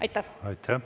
Aitäh!